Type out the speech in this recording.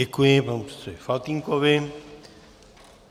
Děkuji panu předsedovi Faltýnkovi.